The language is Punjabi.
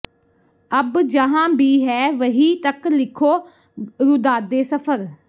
ਅਬ ਜਹਾਂ ਭੀ ਹੈਂ ਵਹੀਂ ਤਕ ਲਿਖੋ ਰੂਦਾਦੇ ਸਫਰ